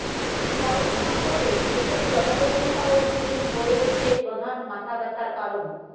corona সংকটে দেশের জনবহুল শহর গুলিই হয়ে উঠছে প্রধান মাথাব্যথার কারণ